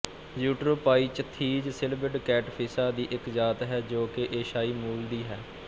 Eutropiichthys schilbid ਕੈਟਫਿਸ਼ਾਂ ਦੀ ਇੱਕ ਜਾਤਿ ਹੈ ਜੋ ਕਿ ਏਸ਼ੀਆਈ ਮੂਲ ਦੀ ਹੈ